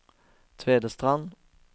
Tvedestrand